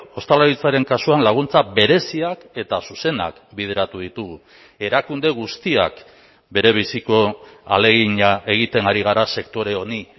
ostalaritzaren kasuan laguntza bereziak eta zuzenak bideratu ditugu erakunde guztiak berebiziko ahalegina egiten ari gara sektore honi